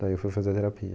Daí eu fui fazer terapia.